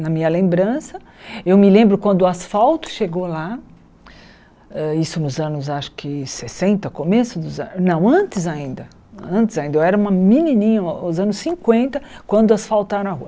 na minha lembrança, eu me lembro quando o asfalto chegou lá, isso ah nos anos acho que sessenta, começo dos anos, não, antes ainda, antes ainda, eu era uma menininha, nos anos cinquenta, quando asfaltaram a rua.